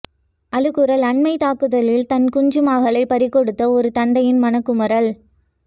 அழுகுரல் அண்மைய தாக்குதலில் தன் குஞ்சு மகளை பறிகொடுத்த ஒரு தந்தையின் மனக்குமுறல்